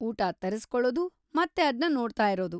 ಊಟ ತರಿಸ್ಕೊಳದು, ಮತ್ತೆ ಅದ್ನ ನೋಡ್ತಾ ಇರೋದು.